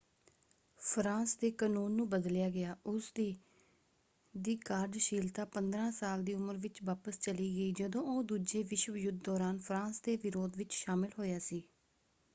France ਦੇ ਕਨੂੰਨ ਨੂੰ ਬਦਲਿਆ ਗਿਆ। ਉਸਦੀ ਦੀ ਕਾਰਜਸ਼ੀਲਤਾ 15 ਸਾਲ ਦੀ ਉਮਰ ਵਿੱਚ ਵਾਪਸ ਚਲੀ ਗਈ ਜਦੋਂ ਉਹ ਦੂਜੇ ਵਿਸ਼ਵ ਯੁੱਧ ਦੌਰਾਨ ਫਰਾਂਸ ਦੇ ਵਿਰੋਧ ਵਿੱਚ ਸ਼ਾਮਲ ਹੋਇਆ ਸੀ।